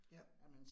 Ja